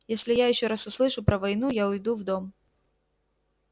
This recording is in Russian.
если я ещё раз услышу про войну я уйду в дом